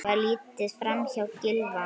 Var litið framhjá Gylfa?